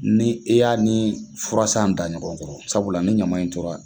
Ni e y'a ni furasan da ɲɔgɔnkɔrɔ sabula ni ɲama in tora